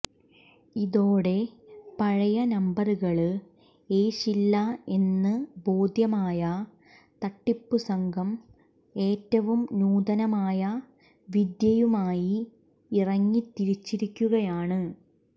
ഇതോടെ പഴയ നമ്പറുകള് ഏശില്ല എന്ന് ബോധ്യമായ തട്ടിപ്പു സംഘം ഏറ്റവും നൂതനമായ വിദ്യയുമായി ഇറങ്ങി തിരിച്ചിരിക്കുകയാണ്